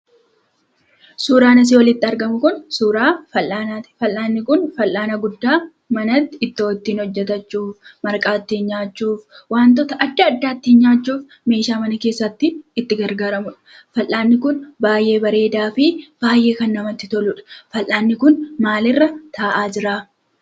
Suuraan asii olitti argamu kun suuraa fal'aanaati. Fal'aanni kun fal'aana guddaa manatti ittoo ittiin hojjatachuu, marqaa ittiin nyaachuuf, wantoota adda addaat ittiin nyaachuuf meeshaa mana keessaa ittiin itti gargaaramnudha. Fal'aanni kun baay'ee bareedaa fi baay'ee kan namatti toludha. Fal'aanni kun maalirra taa'aa jiraa?